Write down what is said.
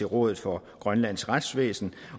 rådet for grønlands retsvæsen